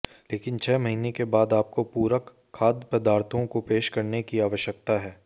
लेकिन छह महीने के बाद आपको पूरक खाद्य पदार्थों को पेश करने की आवश्यकता है